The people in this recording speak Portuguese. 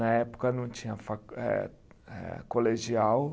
Na época não tinha fa eh, eh, colegial.